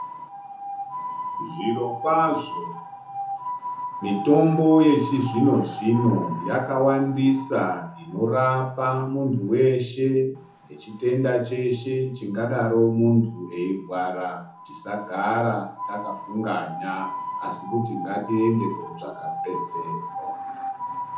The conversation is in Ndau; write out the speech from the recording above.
Zvirokwazvo mitombo yechizvino-zvino yakawandisa inorapa muntu weshe nechitenda cheshe chingadaro muntu eirwara, tisagara takafunganya asi kuti ngatiende kotsvaga rubetsero.